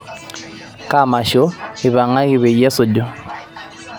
kaa masho eipangangi peyie esuju